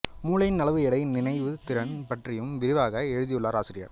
மூளையின் அளவு எடை நினைவுத் திறன் பற்றியும் விரிவாக எழுதியுள்ளார் ஆசிரியர்